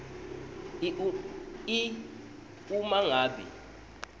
i uma ngabe